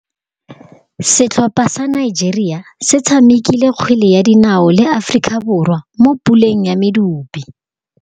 Setlhopha sa Nigeria se tshamekile kgwele ya dinaô le Aforika Borwa mo puleng ya medupe.